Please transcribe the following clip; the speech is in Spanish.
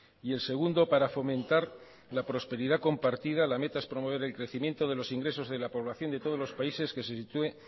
y el segundo para fomentar la prosperidad compartida la meta es promover el crecimiento de los ingresos de la población de todos los países que se sitúe